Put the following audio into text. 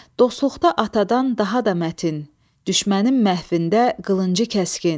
Dostluqda atadan daha da mətin, düşmənin məhvində qılıncı kəskin.